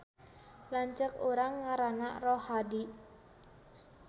Lanceuk urang ngaranna Rohadi